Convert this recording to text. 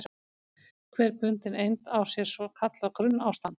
Hver bundin eind á sér svo kallað grunnástand.